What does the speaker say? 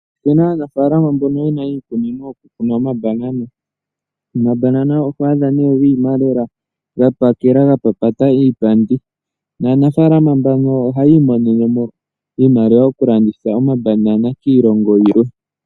Opu na aanafaalama mbono ye na iikunino yokukuna omabanana. Omabanana oto adha nee gi ima lela, ga pakela ga papata iipandi naanafaalama mbano ohayi imonene mo iimaliwa okulanditha omabanana kiilongo yilwe.